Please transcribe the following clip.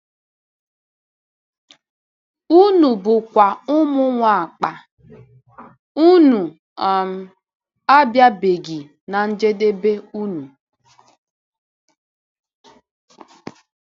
Unu bụkwa ụmụ Nwapa; unu um abịabeghị ná njedebe unu.”